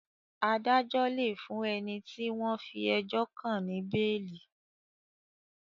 Adájo lẹ fún ẹní tí wón fí ejó kán ní beeli.